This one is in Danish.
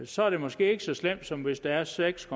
så er det måske ikke så slemt som hvis der er seks